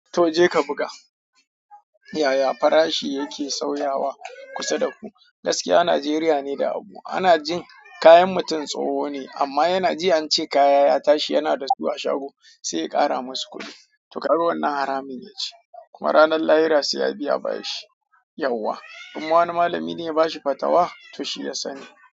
To je ka buga. Yaya farashi yake sauyawa kusa da ku? Gaskiya Najeriya ne da abu. Ana jin kayan mutum tsoho ne amma yana ji an ce kaya ya tashi yana da su a shago sai ƙara musu kuɗi. To kaga wannan haramin yaci. Kuma ranan lahira sai ya biya bashi yauwa. In ma wani malami ne ya bashi fatawa, to shi ya sani.